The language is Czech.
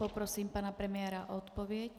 Poprosím pana premiéra o odpověď.